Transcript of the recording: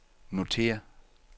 notér